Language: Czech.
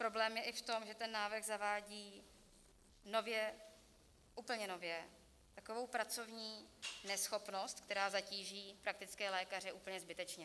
Problém je i v tom, že ten návrh zavádí nově, úplně nově takovou pracovní neschopnost, která zatíží praktické lékaře, úplně zbytečně.